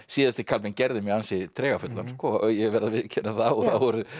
síðasti kaflinn gerði mig ansi ég verð að viðurkenna það og